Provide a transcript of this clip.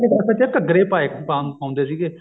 ਘੱਗਰੇ ਪਾਉਂਦੇ ਸੀਗੇ